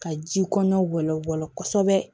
Ka ji kɔɲɔ bɛ bɔ kosɛbɛ